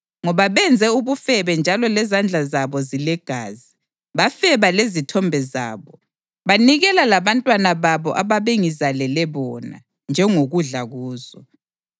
ngoba benze ubufebe njalo lezandla zabo zilegazi. Bafeba lezithombe zabo; banikela labantwana babo ababengizalele bona, njengokudla kuzo.